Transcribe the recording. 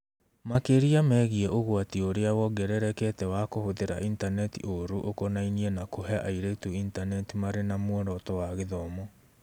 Makĩria megiĩ ũgwati ũrĩa wongererekete wa kũhũthĩra intaneti ũũru ũkonainie na kũhe airĩtu Intaneti marĩ na muoroto wa gĩthomo.